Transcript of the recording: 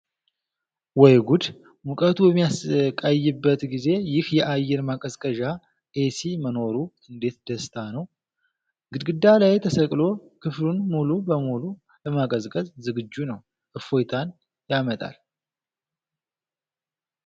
ወይ ጉድ! ሙቀቱ በሚያሰቃይበት ጊዜ ይህ የአየር ማቀዝቀዣ (ኤሲ) መኖሩ እንዴት ደስታ ነው! ግድግዳ ላይ ተሰቅሎ ክፍሉን ሙሉ በሙሉ ለማቀዝቀዝ ዝግጁ ነው! እፎይታን ያመጣል!